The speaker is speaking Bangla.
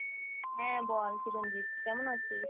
হ্যাঁ বল চিরঞ্জিত কেমন আছিস?